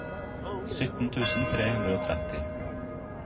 sytten tusen tre hundre og tretti